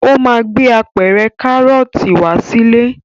Ó máa gbé apẹ̀rẹ̀ Kárọ́tì wá sílé.